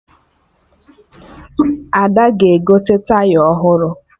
Ada ga-egote Taya ọhụrụ